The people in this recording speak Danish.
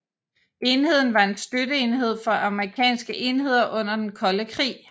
Enheden var en støtteenhed for amerikanske enheder under den kolde krig